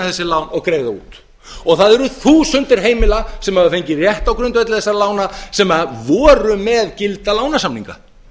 þessi lán og greiða þau út það eru þúsundir heimila sem hafa fengið rétt á grundvelli þessara lána sem voru með gilda lánasamninga